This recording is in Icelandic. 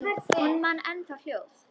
Hún man enn það hljóð.